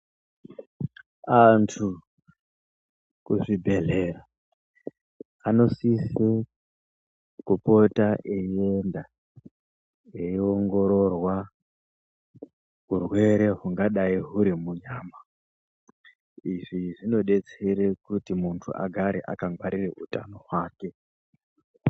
Antu kuzvibhedhlera, anosise kupota eienda eiongororwa hurwere hungadai hwurimunyama. Izvi zvinodetsere kuti muntu agare akangwarire hutano hwake.